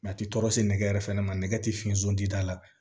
a ti tɔɔrɔ sikɛ yɛrɛ fɛnɛ ma nɛgɛ ti fiɲɛ sun da la